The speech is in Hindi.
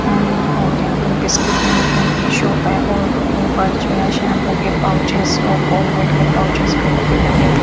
अ और यहाँ पर बिस्किट नमकीन की शॉप है और ऊपर जो है शैम्पू के पाउचेस और कोलगेट के पाउचेस वगैरह भी लगे हुए।